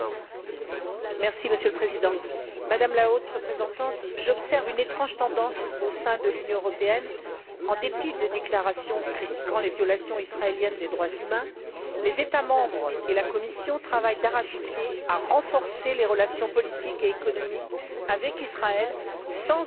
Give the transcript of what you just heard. Monsieur le Président, Madame la Haute représentante, j'observe une étrange tendance au sein de l'Union européenne en dépit des déclarations critiquant les violations israéliennes des droits humains, les États membres et la Commission travaillent d'arrache pied à renforcer les relations politiques et économiques avec Israël sans aucune condition.